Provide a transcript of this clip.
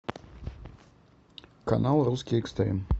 канал русский экстрим